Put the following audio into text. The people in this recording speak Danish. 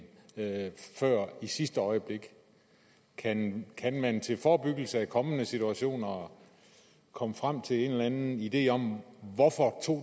før i sidste øjeblik kan kan man til forebyggelse af kommende situationer komme frem til en eller anden idé om hvorfor